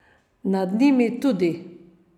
Nad njimi tudi.